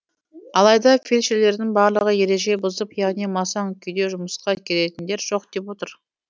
алайда фельдшерлердің барлығы ереже бұзып яғни масаң күйде жұмысқа келетіндер жоқ деп отыр